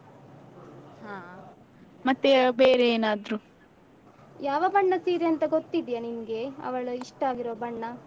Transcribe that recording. ಯಾವ ಬಣ್ಣದ್ ಸೀರೆ ಅಂತ ಗೊತ್ತಿದ್ಯಾ ನಿಂಗೆ ಅವಳು ಇಷ್ಟ ಆಗಿರುವ ಬಣ್ಣ?